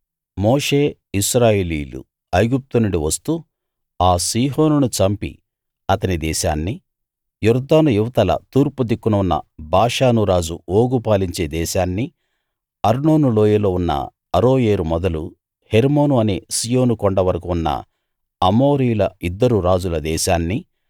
మోషే ఇశ్రాయేలీయులు ఐగుప్తు నుండి వస్తూ ఆ సీహోనును చంపి అతని దేశాన్నీ యొర్దాను ఇవతల తూర్పు దిక్కున ఉన్న బాషాను రాజు ఓగు పాలించే దేశాన్నీ అర్నోను లోయలో ఉన్న అరోయేరు మొదలు హెర్మోను అనే సీయోను కొండ వరకూ ఉన్న అమోరీయుల ఇద్దరు రాజుల దేశాన్ని